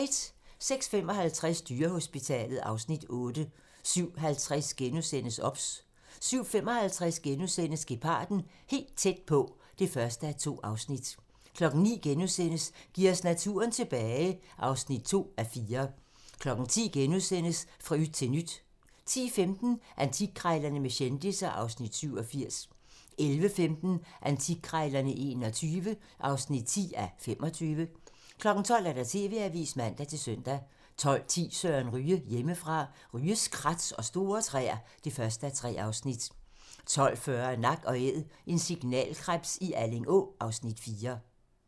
06:55: Dyrehospitalet (Afs. 8) 07:50: OBS * 07:55: Geparden - helt tæt på (1:2)* 09:00: Giv os naturen tilbage (2:4)* 10:00: Fra yt til nyt * 10:15: Antikkrejlerne med kendisser (Afs. 87) 11:15: Antikkrejlerne XXI (10:25) 12:00: TV-avisen (man-søn) 12:10: Søren Ryge: Hjemmefra - Ryges krat og store træer (1:3) 12:40: Nak & æd - en signalkrebs i Alling Å (Afs. 4)